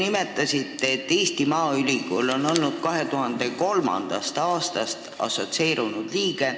Te märkisite, et Eesti Maaülikool on olnud 2003. aastast assotsieerunud liige.